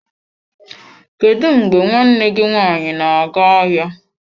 Kedu mgbe nwanne gị nwaanyị na-aga ahịa?